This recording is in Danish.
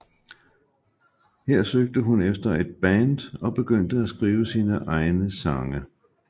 Her søgte hun efter et band og begyndte at skrive sine egne sange